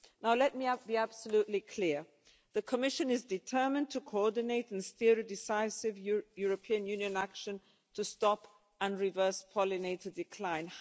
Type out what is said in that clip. Now let me be absolutely clear the Commission is determined to coordinate and steer a decisive European Union action to stop and reverse pollinator decline.